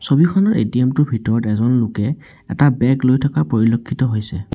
ছবিখনত এ_টি_এম টোৰ ভিতৰত এজন লোকে এটা বেগ লৈ থকা পৰিলক্ষিত হৈছে।